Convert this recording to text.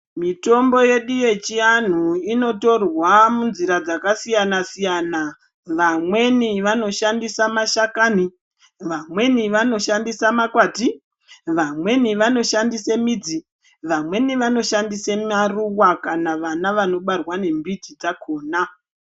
Mitombo yedu yechiandu inotorwa munzira dzakasiyana siyana vamweni vanoshandisa mashakani ,vamweni vanoshandisa ,makwati vamweni vanoshandise midzi, vamweni vanoshandise maruwa kana vana vanobarwa ngembiti dzakona.